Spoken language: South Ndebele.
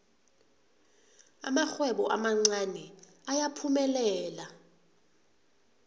amarhwebo amancani ayaphumelela